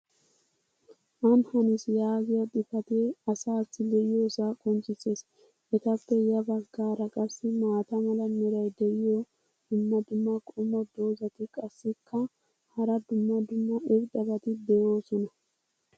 Ani hannis yaahiya xifatee asaassi be'iyoosaa qonccisees. etappe ya bagaara qassi maata mala meray diyo dumma dumma qommo dozzati qassikka hara dumma dumma irxxabati doosona.